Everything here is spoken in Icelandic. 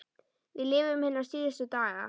Við lifum hina síðustu daga.